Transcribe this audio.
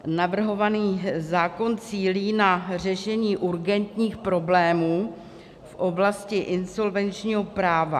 Navrhovaný zákon cílí na řešení urgentních problémů v oblasti insolvenčního práva.